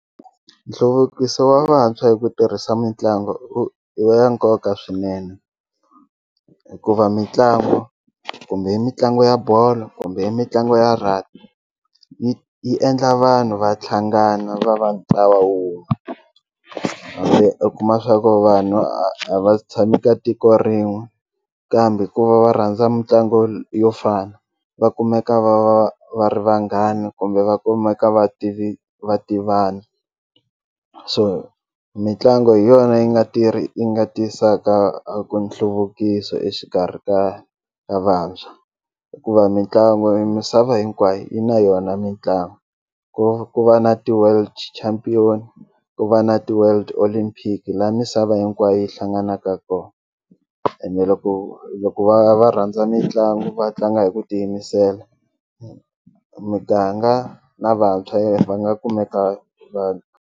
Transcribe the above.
Nhluvukiso wa vantshwa hi ku tirhisa mitlangu i ya nkoka swinene hikuva mitlangu kumbe i mitlangu ya bolo kumbe i mitlangu ya rugby yi yi endla vanhu va tlhangana va va ntlawa wun'we hambi i kuma swa ku vanhu a va tshami ka tiko rin'we kambe ku va va rhandza mitlangu yo fana va kumeka va va va ri vanghani kumbe va kumeka va va tivana so mitlangu hi yona yi nga tirhi yi nga tisaka a ku nhluvukiso exikarhi ka ka vantshwa hikuva mitlangu yi misava hinkwayo yi na yona mitlangu ku ku va na ti-world champion ku va na ti-world olympic la misava hinkwayo yi hlanganaka kona ende loko loko va va rhandza mitlangu va tlanga hi ku tiyimisela muganga na vantshwa va nga kumeka .